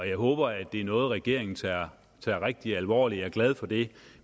jeg håber det er noget regeringen tager rigtig alvorligt og glad for det